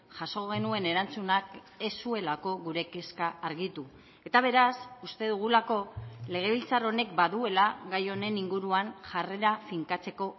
jaso genuen erantzunak ez zuelako gure kezka argitu eta beraz uste dugulako legebiltzar honek baduela gai honen inguruan jarrera finkatzeko